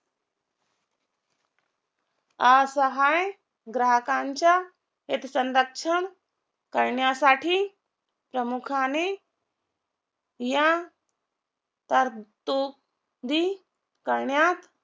असहाय ग्राहकांच्या हितसंरक्षण करण्यासाठी प्रमुख्याने या तरतुदी करण्यात